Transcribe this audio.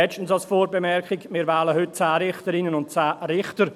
Als letzte Vorbemerkung: Wir wählen heute 10 Richterinnen und Richter.